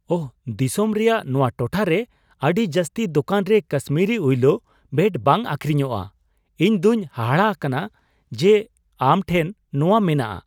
ᱳᱦ ! ᱫᱤᱥᱚᱢ ᱨᱮᱭᱟᱜ ᱱᱚᱣᱟ ᱴᱚᱴᱷᱟ ᱨᱮ ᱟᱹᱰᱤ ᱡᱟᱹᱥᱛᱤ ᱫᱳᱠᱟᱱ ᱨᱮ ᱠᱟᱥᱢᱤᱨᱤ ᱩᱤᱞᱳ ᱵᱮᱴ ᱵᱟᱝ ᱟᱹᱠᱷᱨᱤᱧᱚᱜᱼᱟ ᱾ ᱤᱧ ᱫᱚᱧ ᱦᱟᱦᱟᱲᱟᱜ ᱠᱟᱱᱟ ᱡᱮ ᱟᱢ ᱴᱷᱮᱱ ᱱᱚᱣᱟ ᱢᱮᱱᱟᱜᱼᱟ ᱾